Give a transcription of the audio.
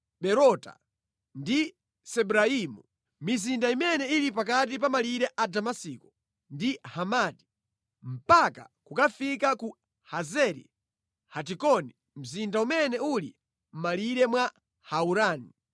Berota ndi Sibraimu (mizinda imene ili pakati pa malire a Damasiko ndi Hamati mpaka kukafika ku Hazeri Hatikoni mzinda umene uli mʼmalire mwa Haurani.